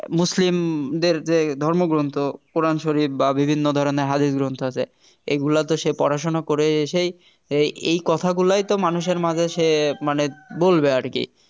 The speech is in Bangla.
মুসলিমদের যে ধর্মগ্রন্থ কোরআন শরীফ বা বিভিন্ন ধরনের হাদিস গ্রন্থ আছে এগুলা তো সে পড়াশোনা করে এসেই এই কথা গুলাই তো মানুষের মাঝে সে মানে বলবে আর কি